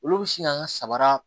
Olu bɛ sin k'an ka sabara